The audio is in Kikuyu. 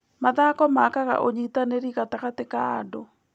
Mathako makaga ũnyitanĩri gatagatĩ ka andũ.